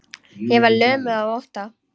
Ég var lömuð af ótta.